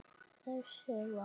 Þess sem var.